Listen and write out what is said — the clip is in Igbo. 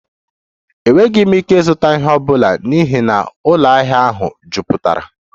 Enweghị m ike ịzụta ihe ọ bụla n'ihi na ụlọ ahịa ahụ jupụtara